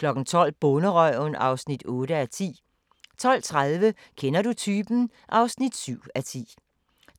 12:00: Bonderøven (8:10) 12:30: Kender du typen? (7:10)